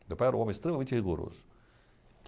Meu pai era um homem extremamente rigoroso.